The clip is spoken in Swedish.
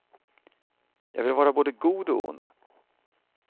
Jag vill vara både god och ond.